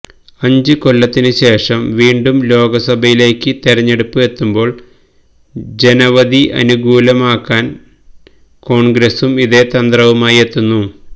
അഞ്ച് കൊല്ലത്തിന് ശേഷം വീണ്ടും ലോക്സഭയിലേക്ക് തെരഞ്ഞെടുപ്പ് എത്തുമ്പോള് ജനവധി അനുകൂലമാക്കാന് കോണ്ഗ്രസും ഇതേ തന്ത്രവുമായെത്തുന്നു